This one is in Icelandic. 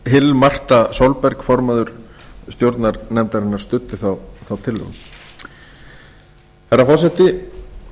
hill marta solberg formaður stjórnar nefndarinnar studdi þá tillögu herra forseti